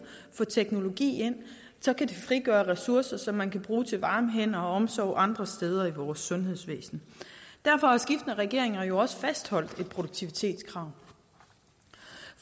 og få teknologi ind så kan det frigøre ressourcer som man kan bruge til varme hænder og omsorg andre steder i vores sundhedsvæsen derfor har skiftende regeringer jo også fastholdt et produktivitetskrav